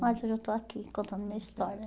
Mas hoje eu estou aqui, contando minha história.